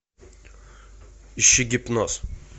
ищи гипноз